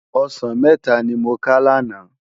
Òsán mètá ni mó ká làná